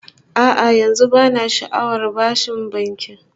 A'a, yanzu bana sha'awar bashin banki